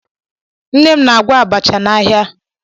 Nne m na-agwọ abacha n'ahịa